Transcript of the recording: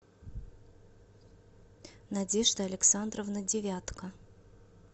надежда александровна девятко